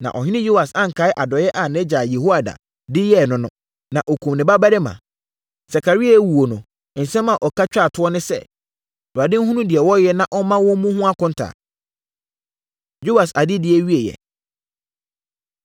Na ɔhene Yoas ankae adɔeɛ a nʼagya Yehoiada de yɛɛ no no, na ɔkumm ne babarima. Sakaria rewuo no, nsɛm a ɔka twaa toɔ ne sɛ, “ Awurade nhunu deɛ wɔreyɛ na ɔmma wɔmmu ho akonta!” Yoas Adedie Awieeɛ